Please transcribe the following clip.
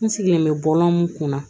N sigilen bɛ bɔlɔn mun kun na